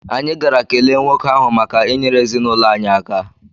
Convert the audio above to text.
Anyị gara kelee nwoke ahụ maka inyere ezinụlọ anyị aka.